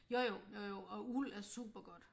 Jo jo jo jo og uld er super godt